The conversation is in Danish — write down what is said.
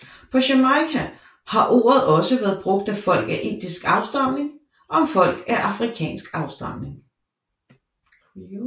På Jamaica har ordet også været brugt af folk af indisk afstamning om folk af afrikansk afstamning